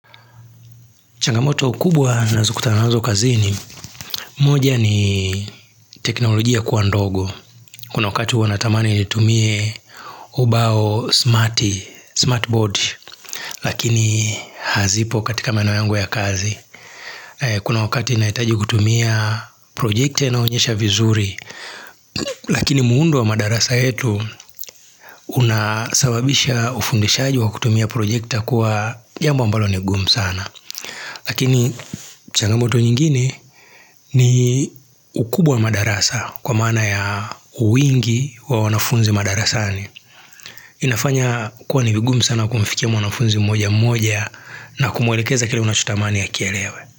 Changamoto kubwa ninazo kutanazo kazini. Moja ni teknolojia kuwa ndogo. Kuna wakati huwa natamani nitumie ubao smati, smartboard. Lakini hazipo katika maeneo yangu ya kazi. Kuna wakati nahitaji kutumia projekta inayo onyesha vizuri. Lakini muundo wa madarasa yetu unasababisha ufundishaji wa kutumia projekta kuwa jambo ambalo ni ngumu sana. Lakini changamoto nyingine ni ukubwa wa madarasa kwa maana ya uwingi wa wanafunzi madarasani. Inafanya kuwa ni vigumu sana kumfikia mwanafunzi mmoja mmoja na kumwelekeza kile unachotamani akielewe.